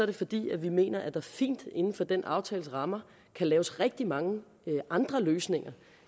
det fordi vi mener at der fint inden for den aftales rammer kan laves rigtig mange andre løsninger